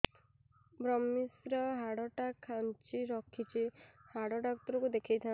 ଵ୍ରମଶିର ହାଡ଼ ଟା ଖାନ୍ଚି ରଖିଛି ହାଡ଼ ଡାକ୍ତର କୁ ଦେଖିଥାନ୍ତି